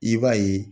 I b'a ye